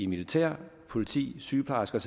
militær politi sygeplejersker